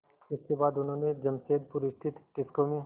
इसके बाद उन्होंने जमशेदपुर स्थित टिस्को में